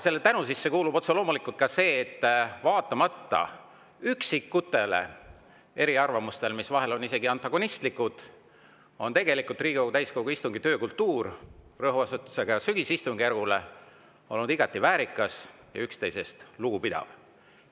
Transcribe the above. Selle tänu sisse kuulub otse loomulikult ka see, et vaatamata üksikutele eriarvamustele, mis vahel on olnud isegi antagonistlikud, on tegelikult Riigikogu täiskogu istungi töökultuur – rõhuasetusega sügisistungjärgul – olnud igati väärikas ja üksteisest lugupidav.